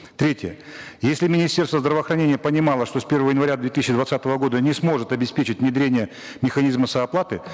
третье если министерство здравоохранения понимало что с первого января две тысячи двадцатого года не сможет обеспечить внедрение механизма сооплаты